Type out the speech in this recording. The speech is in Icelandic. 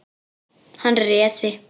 Hann réði.